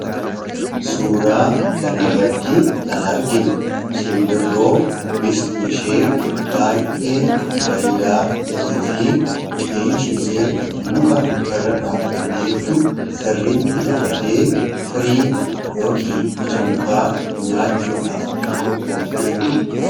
Suuraa kanarratti kan arginu simbirroo bifti ishee baay'ee bareedaa ta'ee fi qeensi ishee muka irra dhaabbatteettu sirriitti qabatee firii yookiin ija mukaa nyaachuudhaaf qophoofteettu argina.